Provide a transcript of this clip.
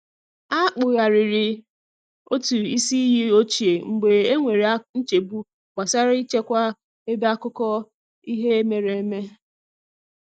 A kpugharịrị otụ isi iyi ochie mgbe e nwere nchegbu gbasara i chekwa ebe akụkọ ihe mere eme.